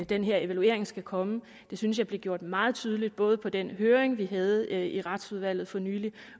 den her evaluering skal komme det synes jeg blev gjort meget tydeligt både under den høring vi havde i retsudvalget for nylig